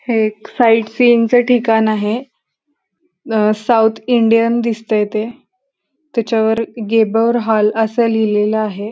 हे एक fight scene च ठिकाण आहे. अ साऊथ इंडियन दिसतंय ते. त्याच्यावर गेबर हॉल असं लिहिलेल आहे.